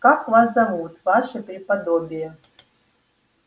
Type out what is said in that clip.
как вас зовут ваше преподобие